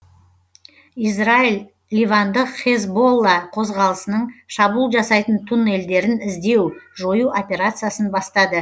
израиль ливандық хезболла қозғалысының шабуыл жасайтын туннельдерін іздеу жою операциясын бастады